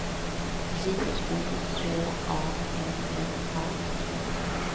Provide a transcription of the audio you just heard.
J O H A N N A